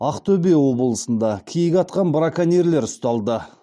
ақтөбе облысында киік атқан браконьерлер ұсталды